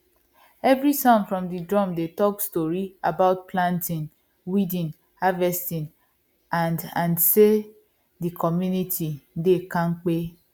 every sound from the drum dey talk story about planting weeding harvesting and and say the community dey kampe